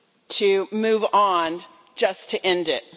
to move on just to end it.